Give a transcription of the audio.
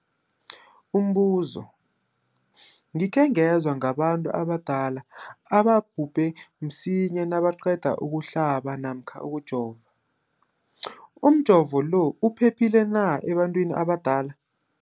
Umbuzo, gikhe ngezwa ngabantu abadala ababhubhe msinyana nabaqeda ukuhlaba namkha ukujova. Umjovo lo uphephile na ebantwini abadala?